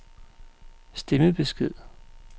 stemmebesked